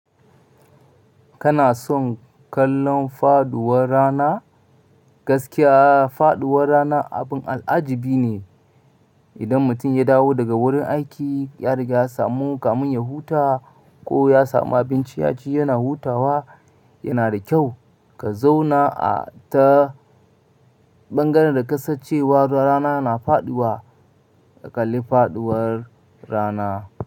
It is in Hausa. Kana son kallon faduwar rana? Gaskiya faduwar rana abin al'ajabi ne. Idan mutum ya dawo daga wurin aiki, ya riga ya samu kamun ya huta ko ya samu abinci ya ci, yana hutawa, yana da kyau ka zauna a ta ɓangaren da ka san cewa rana na faɗiwa ka kalli faɗuwar rana.